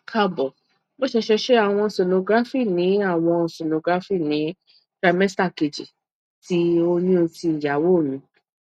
kaabo mo ṣẹṣẹ ṣe awọn sonography ni awọn sonography ni trimester keji ti oyun ti iyawo mi